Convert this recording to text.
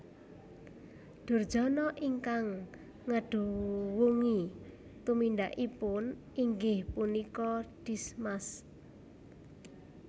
Durjana ingkang ngeduwungi tumindakipun inggih punika Dismas